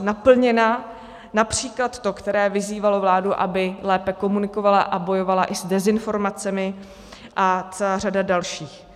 naplněna, například to, které vyzývalo vládu, aby lépe komunikovala a bojovala i s dezinformacemi, a celá řada dalších.